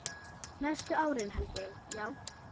Næstu árin held ég, já.